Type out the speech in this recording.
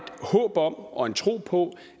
håb om og en tro på